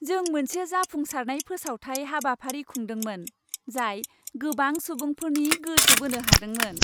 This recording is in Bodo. जों मोनसे जाफुंसारनाय फोसावथाय हाबाफारि खुंदोंमोन, जाय गोबां सुबुंफोरनि गोसो बोनो हादोंमोन।